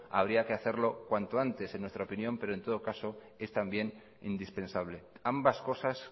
habría que hacer cuanto antes en nuestra opinión pero en todo caso es también indispensable ambas cosas